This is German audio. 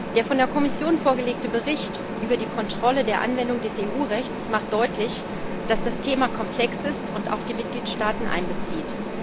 Der von der Kommission vorgelegte Bericht über die Kontrolle der Anwendung des EU Rechts macht deutlich, dass das Thema komplex ist und auch die Mitgliedstaaten einbezieht.